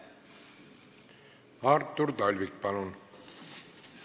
Artur Talvik, palun!